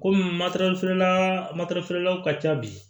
Kɔmi feerela feerelaw ka ca bi